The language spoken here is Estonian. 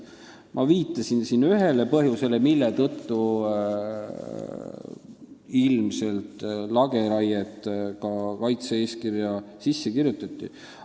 Ma viitasin siin ühele põhjusele, mille tõttu ilmselt lageraie ka kaitse-eeskirja sisse kirjutati.